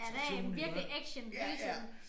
Han er en virkelig action hele tiden